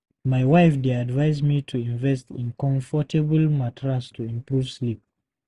My wife dey advise me to invest in comfortable mattress to improve sleep.